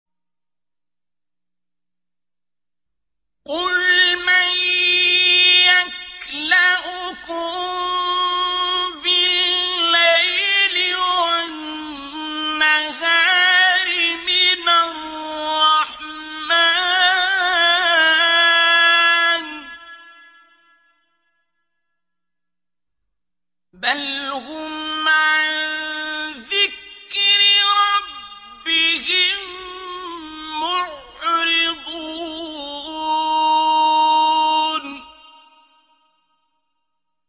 قُلْ مَن يَكْلَؤُكُم بِاللَّيْلِ وَالنَّهَارِ مِنَ الرَّحْمَٰنِ ۗ بَلْ هُمْ عَن ذِكْرِ رَبِّهِم مُّعْرِضُونَ